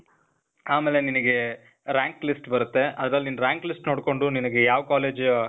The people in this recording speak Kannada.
ಆಮೇಲೆ ನಿನಿಗೇ, rank list ಬರತ್ತೆ. ಅದ್ರಲ್ ನೀನ್ rank list ನೋಡ್ಕೊಂಡು ನಿನಿಗೆ ಯಾವ್ ಕಾಲೇಜ್